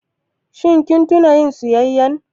Shin kun tuna yin siyayya?